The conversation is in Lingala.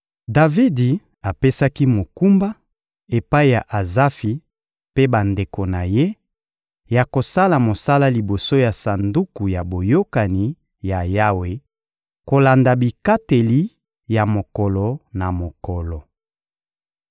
Davidi apesaki mokumba, epai ya Azafi mpe bandeko na ye, ya kosala mosala liboso ya Sanduku ya Boyokani ya Yawe kolanda bikateli ya mokolo na mokolo.